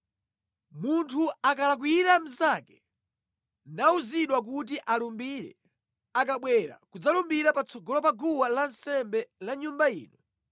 “Munthu akalakwira mnzake, nawuzidwa kuti alumbire, akabwera kudzalumbira patsogolo pa guwa lansembe la Nyumba ino,